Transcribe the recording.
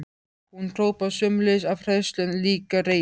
Hún hrópaði sömuleiðis, af hræðslu en líka reiði.